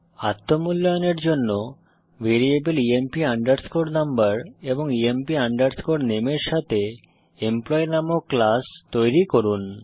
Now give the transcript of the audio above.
আত্ম মূল্যায়নের জন্য ভ্যারিয়েবল ইএমপি আন্ডারস্কোর নাম্বার এবং ইএমপি আন্ডারস্কোর নামে এর সাথে এমপ্লয়ী নামক ক্লাস তৈরি করুন